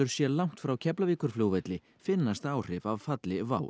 sé langt frá Keflavíkurflugvelli finnast áhrif af falli WOW